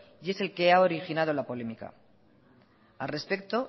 y es el que ha originado la polémica al respecto